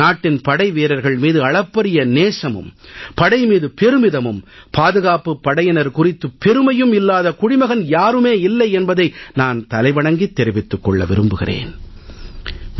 நாட்டின் படைவீரர்கள் மீது அளப்பரிய நேசமும் படை மீது பெருமிதமும் பாதுகாப்பு படையினர் குறித்து பெருமையும் இல்லாத குடிமகன் யாரும் இல்லை என்பதை நான் தலை வணங்கித் தெரிவித்துக் கொள்ள விரும்புகிறேன்